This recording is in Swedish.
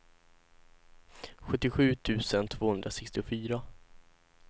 sjuttiosju tusen tvåhundrasextiofyra